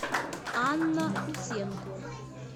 анна усенко